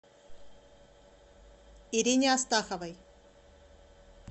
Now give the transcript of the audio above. ирине астаховой